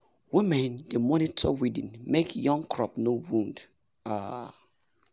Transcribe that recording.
women dey monitor weeding make young crop no wound. um